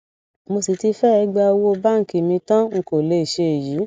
mo sì ti fẹẹ gba owó báǹkì mi tán n kò lè ṣe èyí